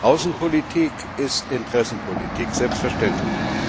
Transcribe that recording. Außenpolitik ist Interessenpolitik, selbstverständlich.